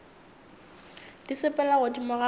di sepela godimo ga mae